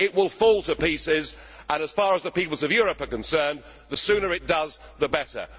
It will fall to pieces, and, as far as the peoples of Europe are concerned, the sooner it does the better.